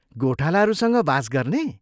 गोठालाहरूसँग वास गर्ने?